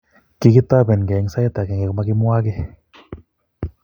Kikitobengei eng sai akenge komaa kimwaa kiy.